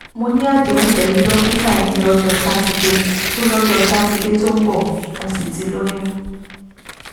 mo ní àdéhùn pẹ̀lú dókítà eyín lọ́jọ́ sátidé tó lọ́jọ́ sátidé tó ń bọ̀ mo sì ti lóyún